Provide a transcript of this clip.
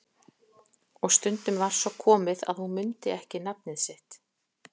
Og stundum var svo komið að hún mundi ekki nafnið sitt.